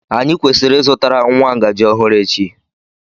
Anyị kwesịrị ịzụtara nwa ngaji ọhụrụ echi.